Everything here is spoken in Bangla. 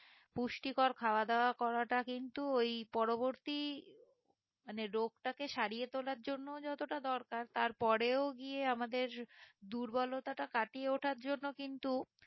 পুষ্টিকর খাওয়া দাওয়া করাটা কিন্তু ওই পরবর্তী মানে রোগ তাকে সরিয়ে তোলার জন্য যতটা দরকার তার পরেও গিয়ে আমাদের দুর্বলতা টা কাটিয়ে ওঠার জন্য কিন্তু